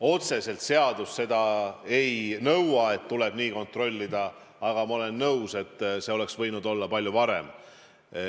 Otseselt seadus ei nõua, et tuleb nii kontrollida, aga ma olen nõus, et see oleks võinud olla palju varem.